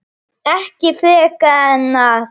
Og ekki frekar en að